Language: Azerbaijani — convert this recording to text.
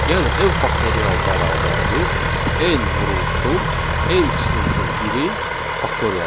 Yəni n faktorial bərabərdir n vurulsun n çıxılsın 1-in faktorialı.